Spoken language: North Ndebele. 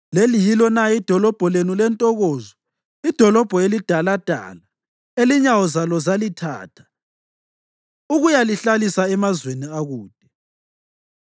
Leli yilo na idolobho lenu lentokozo, idolobho elidaladala, elinyawo zalo zalithatha ukuyalihlalisa emazweni akude?